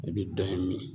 I bi dɔ in min